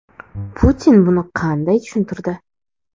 Putin buni qanday tushuntirdi?